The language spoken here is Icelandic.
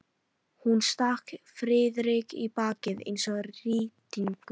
Hún stakk Friðrik í bakið eins og rýtingur.